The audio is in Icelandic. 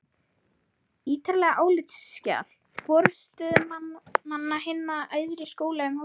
ítarlegt álitsskjal forstöðumanna hinna æðri skóla um háskólahús